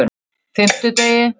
fimmtudegi